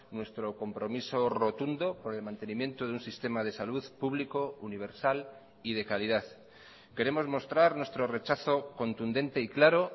nuestro compromiso rotundo por el mantenimiento de un sistema de salud público universal y de calidad queremos mostrar nuestro rechazo contundente y claro